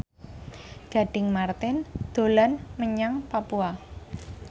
Gading Marten dolan menyang Papua